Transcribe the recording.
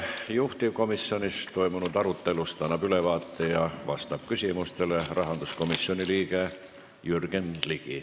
Juhtivkomisjonis toimunud arutelust annab ülevaate ja küsimustele vastab rahanduskomisjoni liige Jürgen Ligi.